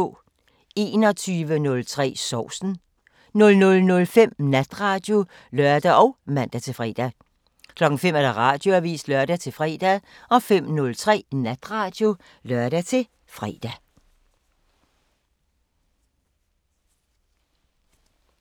21:03: Sovsen 00:05: Natradio (lør og man-fre) 05:00: Radioavisen (lør-fre) 05:03: Natradio (lør-fre)